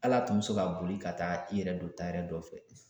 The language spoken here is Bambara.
Hal'a tun bɛ se ka boli ka taa i yɛrɛ don tayɛri dɔ fɛ